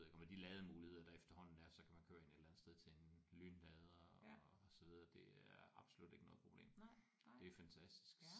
Og med de lademuligheder der efterhånden er så kan man køre ind et eller andet sted til en lynlader og sidde. Det er absolut ikke noget problem. Det er fantastisk